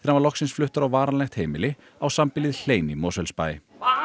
var loksins fluttur á varanlegt heimili á sambýlið hlein í Mosfellsbæ